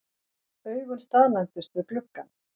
Augun staðnæmdust við gluggann.